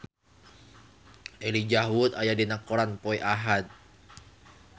Elijah Wood aya dina koran poe Ahad